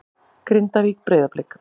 Grindavík- Breiðablik